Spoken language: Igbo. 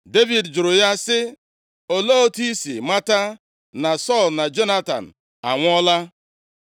Devid jụrụ ya sị, “Olee otu i si mata na Sọl na Jonatan anwụọla?”